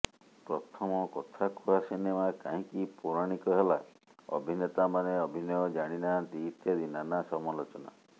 ପ୍ରଥମ କଥାକୁହା ସିନେମା କାହିଁକି ପୌରାଣିକ ହେଲା ଅଭିନେତାମାନେ ଅଭିନୟ ଜାଣି ନାହାନ୍ତି ଇତ୍ୟାଦି ନାନା ସମାଲୋଚନା